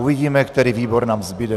Uvidíme, který výbor nám zbude.